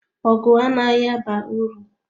Ọgụ anaghị aba uru.